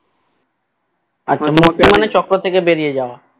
আচ্ছা মুক্তি মানে চক্র থেকে বেরিয়ে যাওয়া